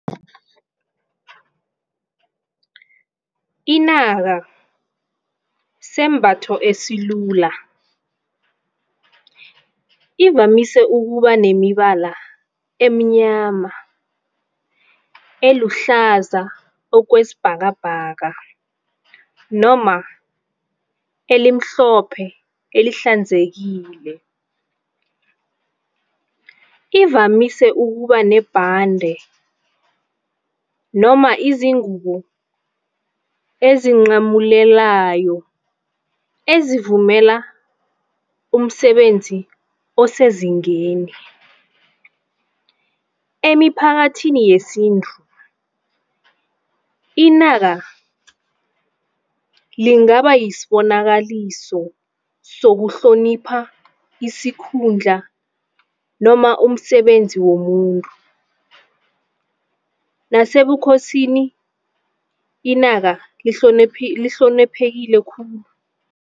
Inaka sisembatho esilula. Ivamise ukuba nemibala eminyama, eluhlaza okwesibhakabhaka noma elimhlophe elihlanzekile. Ivamise ukuba nebhande noma izingubo ezincamulelayo, ezimvumela umsebenzi osezingeni. Emiphakathini yesintu inaka lingaba yisibonakalise sokuhlonipha isikhundla noma umsebenzi womuntu, nasebukhosini inaka lihloniphekile khulu.